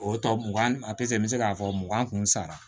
O tɔ mugan a tɛ se n bɛ se k'a fɔ mugan kun sara